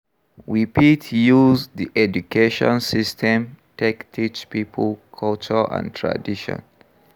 We fit use di education system take teach pipo culture and tradition